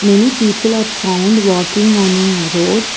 Many people are found walking on a road.